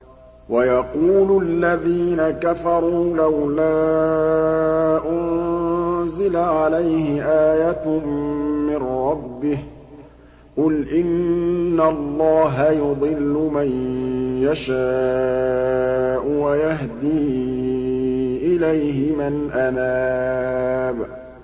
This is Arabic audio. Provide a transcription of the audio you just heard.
وَيَقُولُ الَّذِينَ كَفَرُوا لَوْلَا أُنزِلَ عَلَيْهِ آيَةٌ مِّن رَّبِّهِ ۗ قُلْ إِنَّ اللَّهَ يُضِلُّ مَن يَشَاءُ وَيَهْدِي إِلَيْهِ مَنْ أَنَابَ